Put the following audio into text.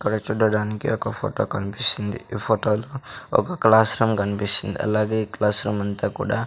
ఇక్కడ చూడడానికి ఒక ఫొటో కన్పిస్తుంది . ఈ ఫొటో లో ఒక క్లాస్ రూమ్ కన్పిస్తుంది అలాగే క్లాస్ రూమ్ అంతా కుడా --